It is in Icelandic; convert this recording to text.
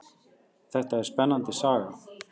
Þetta er spennandi saga.